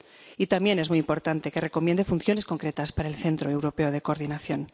Y también es muy importante que recomiende funciones concretas para el Centro Europeo de Coordinación.